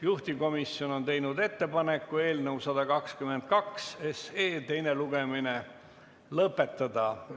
Juhtivkomisjon on teinud ettepaneku eelnõu 122 teine lugemine lõpetada.